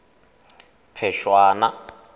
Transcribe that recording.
phešwana